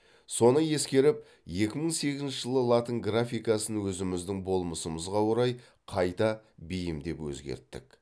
соны ескеріп екі мың сегізінші жылы латын графикасын өзіміздің болмысымызға орай қайта бейімдеп өзгерттік